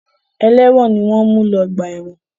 Ẹlẹ́wọ̀n ni wọ́n ń mú lọ ọgbà ẹ̀wọ̀n.